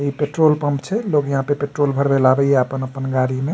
इ petrol pump छै लोग यहाँ पे पेट्रोल भरवे ले आवे ये अपन अपन गाड़ी मे --